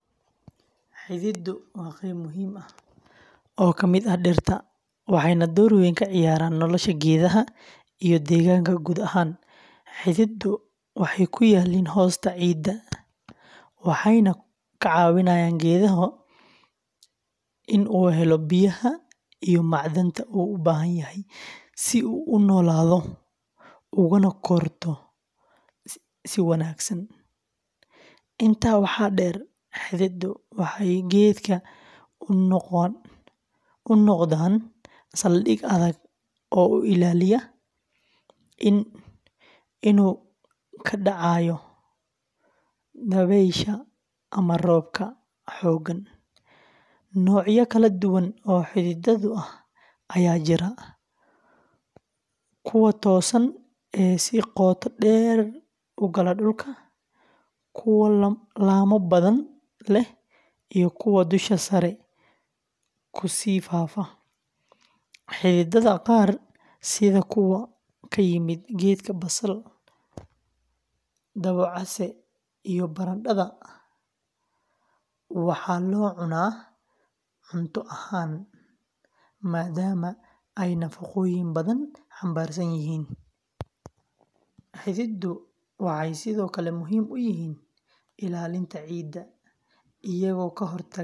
Xididdu waa qayb muhiim ah oo ka mid ah dhirta, waxayna door weyn ka ciyaaraan nolosha geedaha iyo deegaanka guud ahaan. Xididdu waxay ku yaalliin hoosta ciidda, waxayna ka caawiyaan geedka in uu helo biyaha iyo macdanta uu u baahan yahay si uu u noolaado ugana korto si wanaagsan. Intaa waxaa dheer, xididdu waxay geedka u noqdaan saldhig adag oo u ilaaliya inuu ka dhacayo dabaysha ama roobabka xooggan. Noocyo kala duwan oo xididdo ah ayaa jira: kuwa toosan ee si qoto dheer u gala dhulka, kuwa laamo badan leh, iyo kuwa dusha sare kusii faafa. Xididdada qaar sida kuwa ka yimaada geedka basal, dabocase, iyo barandhada, waxaa loo cunaa cunto ahaan maaddaama ay nafaqooyin badan xambaarsan yihiin. Xididdu waxay sidoo kale muhiim u yihiin ilaalinta ciidda, iyagoo ka hortaga.